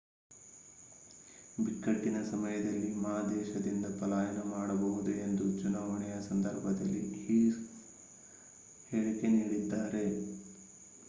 ಬಿಕ್ಕಟ್ಟಿನ ಸಮಯದಲ್ಲಿ ಮಾ ದೇಶದಿಂದ ಪಲಾಯನ ಮಾಡಬಹುದು ಎಂದು ಚುನಾವಣೆಯ ಸಂದರ್ಭದಲ್ಲಿ ಹ್ಸೀಹ್ ಹೇಳಿಕೆ ನೀಡಿದ್ದಾರೆ